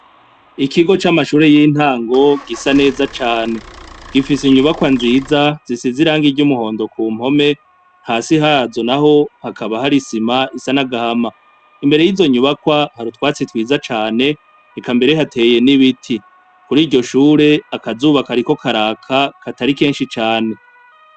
Ikigo c'amashure y'intango gisa neza cane ,gifise inyubakwa nziza zisize irangi ry'umuhondo ku mpome hasi hazo naho hakaba hari isima isa n'agahama. Imbere y'izo nyubakwa hari utwatsi twiza cane eka mbere hateye n'ibiti . Kuriyo shure akazuba kariko karaka atari kenshi cane .